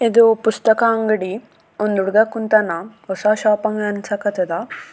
ಇದು ಪುಸ್ತಕ ಅಂಗಡಿ ಒಂದು ಹುಡ್ಗ ಕುಂತಾಣ ಹೊಸ ಶೋಪ್ ಅಂಗಡಿ ಅನ್ಸಕತ್ತಾದ.